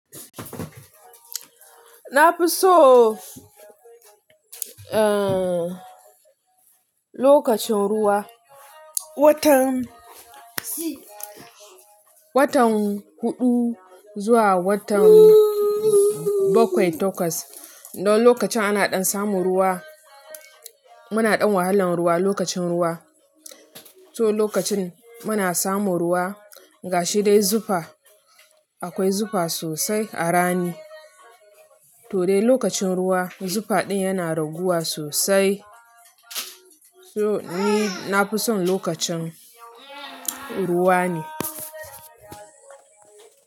Na fi so, eh, lokacin ruwa. Watan, watan huɗu zuwa watan bakwai, tokwas. Don lokacin ana ɗan samu ruwa. Muna ɗan wahalan ruwa lokacin ruwa. To lokacin muna samu ruwa, gashi dai zufa, akwai zufa sosai a rani. To dai lokacin ruwa, zufa ɗin yana raguwa sosai. So ni, na fi son lokacin ruwa ne.